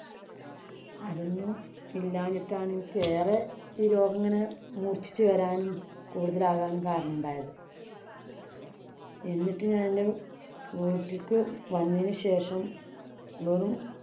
അതൊന്നും ഇല്ലാഞ്ഞിട്ടാണ് എനിക്ക് ഏറെ ഈ സമയത്ത് ഈ രോഗമിങ്ങനെ മൂര്‍ച്ചിച്ചു വരാനും, കൂടുതലാകാനും കാരണം ആയത്. എന്നിട്ട് ഞാനെന്‍റെ വീട്ടിലേക്കു വന്നതിനു ശേഷം വെറും